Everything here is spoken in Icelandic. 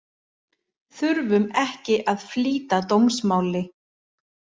Þurfum ekki að flýta dómsmáli